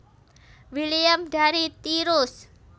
William dari Tirus